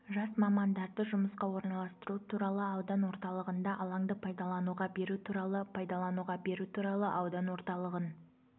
жас мамандарды жұмысқа орналастыру туралы аудан орталығында алаңды пайдалануға беру туралы пайдалануға беру туралы аудан орталығын